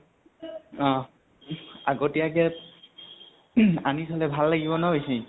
অহ। আগতিয়াকে উহ আনি থলে ভাল লাগিব ন বেছি?